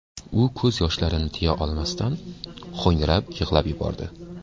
U ko‘z yoshlarini tiya olmasdan, ho‘ngrab yig‘lab yubordi.